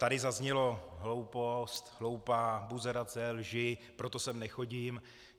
Tady zaznělo: hloupost, hloupá, buzerace, lži, proto sem nechodím.